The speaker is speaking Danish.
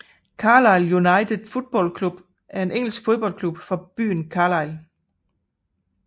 Carlisle United Football Club er en engelsk fodboldklub fra byen Carlisle